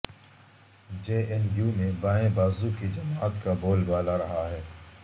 جے N U میں بائیں بازو کی جماعت کا بول بالا رہا ہے